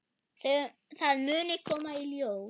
Það muni koma í ljós.